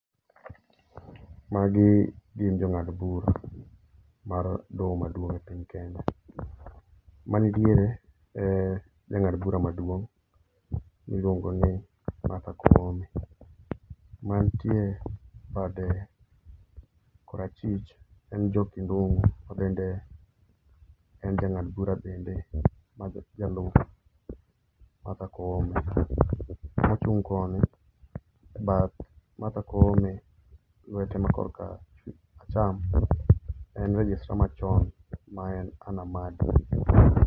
Magi gin jongad bura mar doho maduong e piny Kenya. Mani diere e jangad bura maduong miluongo ni Martha Koome, mantie bade kor achich en Njoki Ndungu mabende en jangad bura bende ma jalup Martha Koome, mochung koni e bath Martha Koome e lwete ma korka acham en registra machon maen Ann Amadi